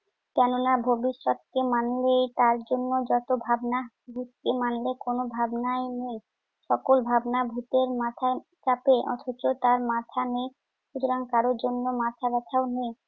কেননা ভবিষ্যতকে মানলেই তার জন্য যত ভাবনা। যুক্তি মানলে কোন ভাবনাই নেই। সকল ভাবনা ভুতের মাথায় চাপে অথচ তার মাথা নেই। সুতরাং কারো জন্য মাথাব্যথাও নেই।